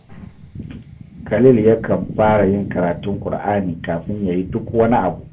Khalil yakan fara yin karatun Kur’ani kafin ya yi duk wani abu